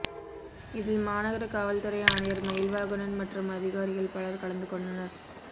இதில் மாநகர காவல்துறை ஆணையர் மயில்வாகணன் மற்றும் அதிகாரிகள் பலர் கலந்துகொண்டனர்